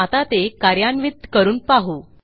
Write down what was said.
आता ते कार्यान्वित करून पाहू